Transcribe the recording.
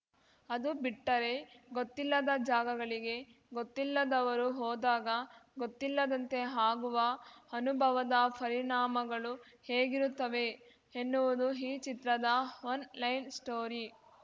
ಅದು ಬಿಟ್ಟರೆ ಗೊತ್ತಿಲ್ಲದ ಜಾಗಗಳಿಗೆ ಗೊತ್ತಿಲ್ಲದವರು ಹೋದಾಗ ಗೊತ್ತಿಲ್ಲದಂತೆ ಆಗುವ ಅನುಭವದ ಪರಿಣಾಮಗಳು ಹೇಗಿರುತ್ತವೆ ಎನ್ನುವುದು ಈ ಚಿತ್ರದ ಒನ್‌ಲೈನ್‌ ಸ್ಟೋರಿ